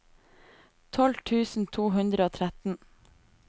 tolv tusen to hundre og tretten